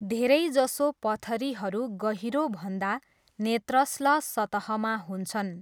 धेरै जसो पथरीहरू गहिरो भन्दा नेत्रश्ल सतहमा हुन्छन्।